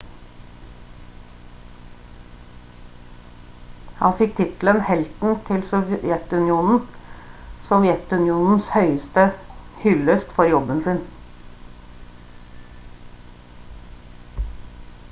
han fikk tittelen «helten til sovjetunionen» sovjetunionens høyeste hyllest for jobben sin